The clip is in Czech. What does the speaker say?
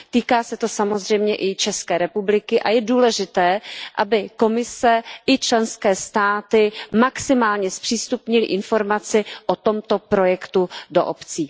Týká se to samozřejmě i České republiky a je důležité, aby Evropská komise i členské státy maximálně zpřístupnily informaci o tomto projektu do obcí.